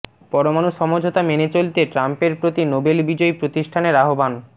পরমাণু সমঝোতা মেনে চলতে ট্রাম্পের প্রতি নোবেল বিজয়ী প্রতিষ্ঠানের আহ্বান